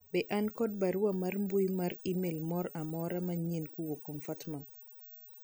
be an kod barua mar mbui mar email moro amora manyien kowuok kuom Fatma